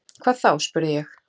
Hvað þá? spurði ég.